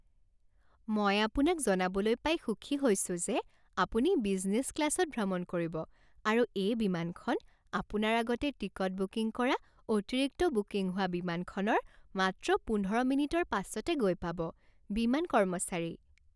মই আপোনাক জনাবলৈ পাই সুখী হৈছো যে আপুনি বিজনেছ ক্লাছত ভ্ৰমণ কৰিব আৰু এই বিমানখন আপোনাৰ আগতে টিকট বুকিং কৰা অতিৰিক্ত বুকিং হোৱা বিমানখনৰ মাত্ৰ পোন্ধৰ মিনিটৰ পাছতে গৈ পাব। বিমান কৰ্মচাৰী